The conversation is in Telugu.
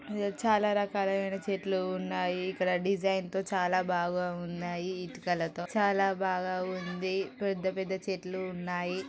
ఇక్కడ చాలా రకాల మైన చెట్లు ఉన్నాయి. ఇక్కడ డిజైన్ తో చాలా బాగా ఉన్నాయి. ఇటుకలతో. చాలా బాగా ఉంది. పెద్ద పెద్ద చెట్లు ఉన్నాయి.